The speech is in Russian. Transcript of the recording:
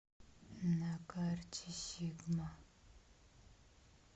на карте сигма